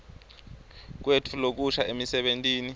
kwetfu lokusha emisebentini